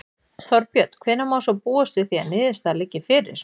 Þorbjörn: Hvenær má svo búast við því að niðurstaða liggi fyrir?